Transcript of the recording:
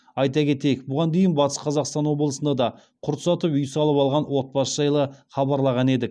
айта кетейік бұған дейін батыс қазақстан облысында да құрт сатып үй салып алған отбасы жайлы хабарлаған едік